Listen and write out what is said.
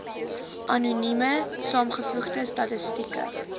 anonieme saamgevoegde statistieke